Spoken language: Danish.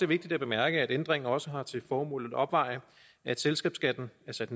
vigtigt at bemærke at ændringen også har til formål at opveje at selskabsskatten er sat